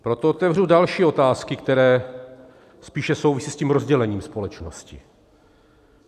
Proto otevřu další otázky, které spíše souvisí s tím rozdělením společnosti.